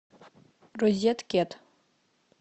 розеткед